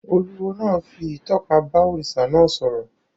Olúwo náà fi ìtọ́ka bá òrìṣà náà sọ̀rọ̀